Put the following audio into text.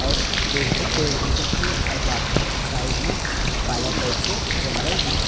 और दो ठो पेड़ दिखत हे और बाकि के साइड मा काला टाइप से जंगल दिखत हे।